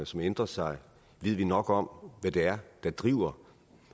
som ændrer sig ved vi nok om hvad det er der driver